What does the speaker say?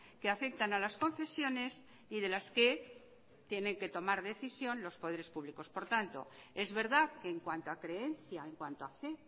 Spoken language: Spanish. que afectan a las confesiones y de las que tienen que tienen que tomar decisión los poderes públicos por tanto es verdad que en cuanto a creencia en cuanto a fe